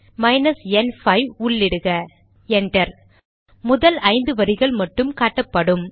minus n 5 enter முதல் ஐந்து வரிகள் மட்டும் காட்டப்படும்